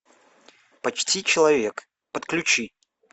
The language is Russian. почти человек подключи